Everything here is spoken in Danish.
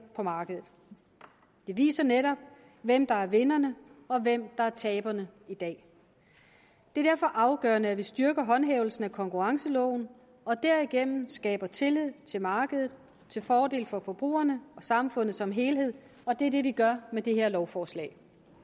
på markedet det viser netop hvem der er vinderne og hvem der er taberne i dag det er derfor afgørende at vi styrker håndhævelsen af konkurrenceloven og derigennem skaber tillid til markedet til fordel for forbrugerne og samfundet som helhed og det er det vi gør med det her lovforslag